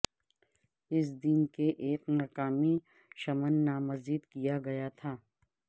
اس دن کے ایک مقامی شمن نامزد کیا گیا تھا